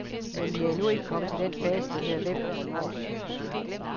Men vi er endnu ikke kommet til den fase, der hedder hvem og hvornår.